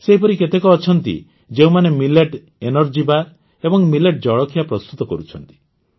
ସେହିପରି କେତେକ ଅଛନ୍ତି ଯେଉଁମାନେ ମିଲେଟ୍ ଏନର୍ଜି ବାର୍ ଏବଂ ମିଲେଟ୍ ଜଳଖିଆ ପ୍ରସ୍ତୁତ କରୁଛନ୍ତି